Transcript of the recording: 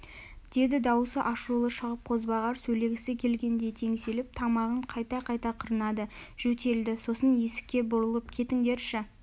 деді дауысы ашулы шығып қозбағар сөйлегісі келгендей теңселіп тамағын қайта-қайта қырнады жөтелді сосын есікке бұрылып кетіңдерші